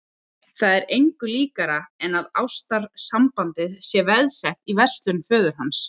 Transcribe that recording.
Það er engu líkara en að ástar- sambandið sé veðsett í verslun föður hans.